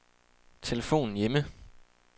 telefon hjemme